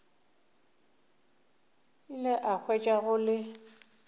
ile a hwetša go le